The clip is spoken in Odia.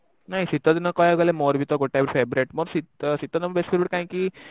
ନାଇ ଶୀତ ଦିନ କହିବାକୁ ଗଲେ ମୋର ବି ଟେ ଗୋଟେ favourite ମୋର ଶୀତ କାହିଁକି